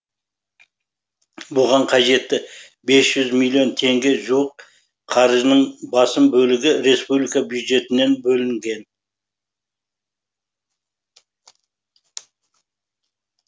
бұған қажетті бес жүз миллион теңге жуық қаржының басым бөлігі республика бюджетінен бөлінген